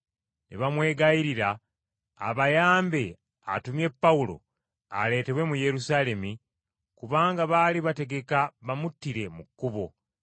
Ne bamwegayirira abayambe atumye Pawulo aleetebwe mu Yerusaalemi, kubanga baali bategeka bamuttire mu kkubo.